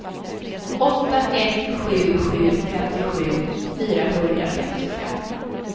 åtta ett sju sju femtiosju fyrahundrafemtiofem